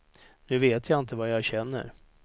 Nu vet jag inte vad jag känner.